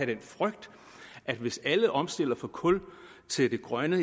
den frygt at hvis alle omstiller fra kul til det grønne